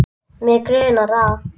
Mig grunar það.